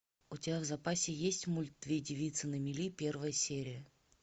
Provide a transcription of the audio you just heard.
у тебя в запасе есть мульт две девицы на мели первая серия